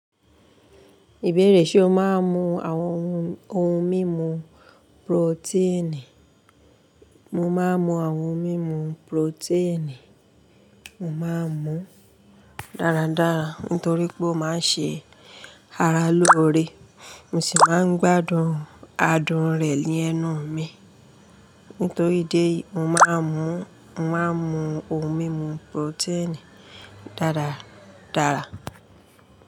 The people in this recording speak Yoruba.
Ìbéèrè ṣe o máa ń mu àwọn ohun mímu protein? Mo máa ń mu àwọn ohun mímu protein, mo máa ń mu dáradára nítorí pé ó máa ń ṣe ara lóore mo sì máa ń gbádùn adùn rẹ̀ ní ẹnu mi. Nítorí idi eyii, mo máa ń mu ohun mímu protein dáradára.